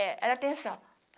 É ela tem som